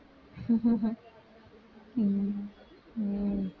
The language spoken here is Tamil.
உம் உம்